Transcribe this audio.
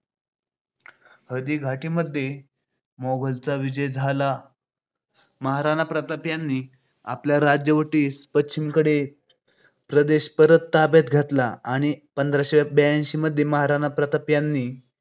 हळदीघाटी मध्ये मोगलांचा विजय झाला. महाराणा प्रताप यांनी आपल्या राज्यवटीतील पश्चिमेकडील प्रदेश परत ताब्यात घेतला. त्यानंतर पंधराशे ब्याऐंशीमध्ये महाराणा प्रताप यांनी